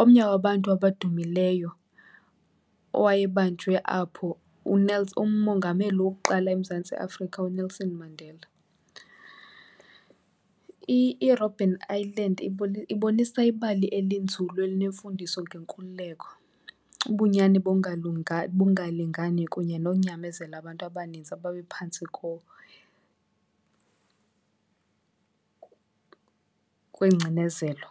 omnye wabantu abadumileyo owayebanjwe apho umongameli wokuqala eMzantsi Afrika uNelson Mandela. IRobben Island ibonisa ibali elinzulu elinemfundiso ngenkululeko, ubunyani bongalingani kunye nonyamezela abantu abaninzi ababephantsi kwengcinezelo.